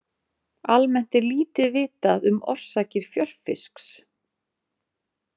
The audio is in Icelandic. Almennt er lítið vitað um orsakir fjörfisks.